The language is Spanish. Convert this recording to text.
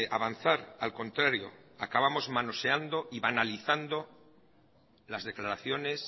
avanzar al contrario acabamos manoseando y banalizando las declaraciones